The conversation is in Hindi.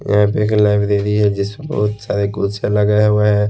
यहा पे एक लाइब्रेरी है जिसको सारी कुर्सियां लगाए हुए हैं।